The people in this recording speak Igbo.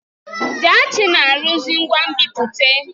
Jaachi na-arụzi ngwa nbipute.